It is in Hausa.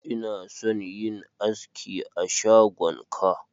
Ina son yin aski a shagon ka.